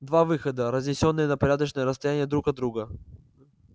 два выхода разнесённые на порядочное расстояние друг от друга